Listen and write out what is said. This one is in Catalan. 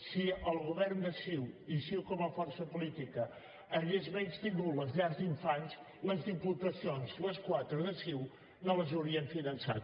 si el govern de ciu i ciu com a força política haguessin menystingut les llars d’infants les diputacions les quatre de ciu no les haurien finançat